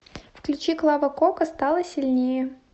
включи клава кока стала сильнее